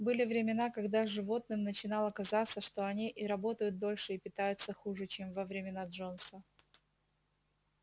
были времена когда животным начинало казаться что они и работают дольше и питаются хуже чем во времена джонса